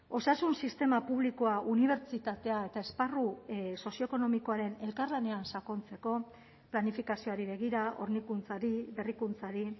osasun sistema publikoa unibertsitatea eta esparru sozioekonomikoaren elkarlanean sakontzeko planifikazioari begira hornikuntzari berrikuntzari